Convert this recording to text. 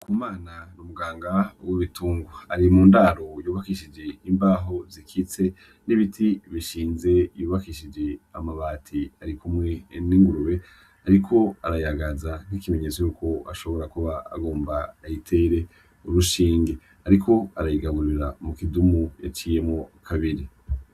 Ndikumana ni muganga w'ibitungwa ari mundaro yubakijishije imbaho zikitse n'ibiti bishinze, yubakishije n'amabati arikumwe n'ingurube ariko arayagaza nkikimenyetso cuko ashobora kuba agomba ayitere urushinge ariko arayigaburira mu kidumu yaciyemwo kabiri.